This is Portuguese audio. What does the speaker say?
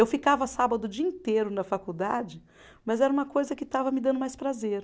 Eu ficava sábado o dia inteiro na faculdade, mas era uma coisa que estava me dando mais prazer.